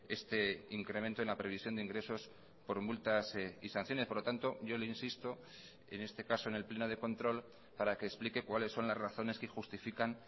este incremento en la previsión de ingresos por multas y sanciones por lo tanto yo le insisto en este caso en el pleno de control para que explique cuáles son las razones que justifican